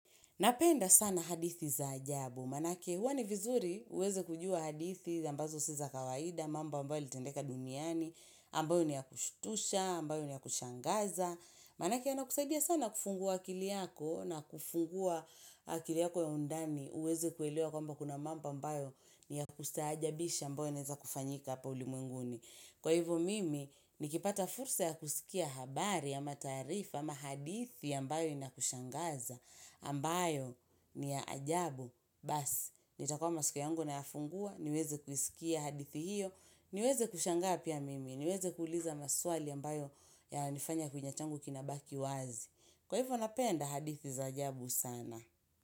Napenda sana hadithi za ajabu, manake huwa ni vizuri uweze kujua hadithi ambazo si za kawaida, mambo ambayo yalitendeka duniani, ambayo ni ya kushtusha, ambayo ni ya kushangaza. Manake yanakusaidia sana kufungua akili yako na kufungua akili yako ya undani uweze kuelewa kwamba kuna mambo ambayo ni ya kustaajabisha ambayo yanaeza kufanyika hapa ulimwenguni. Kwa hivyo mimi, nikipata fursa ya kusikia habari ya mataarifa ama hadithi ambayo inakushangaza, ambayo ni ya ajabu, bas, nitakuwa masikio yangu na yafungua, niweze kuskia hadithi hiyo, niweze kushangaa pia mimi, niweze kuuliza maswali ambayo yanifanya kinywa changu kinabaki wazi. Kwa hivyo napenda hadithi za ajabu sana.